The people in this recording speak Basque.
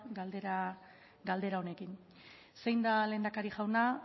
galdera honekin zein da lehendakari jauna